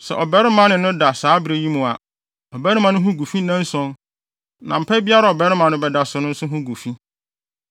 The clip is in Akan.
“ ‘Sɛ ɔbarima ne no da saa bere yi mu a, ɔbarima no ho gu fi nnanson; na mpa biara a ɔbarima no bɛda so no nso ho gu fi.